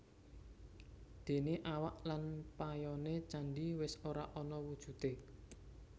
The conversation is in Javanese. Déné awak lan payoné candhi wis ora ana wujudé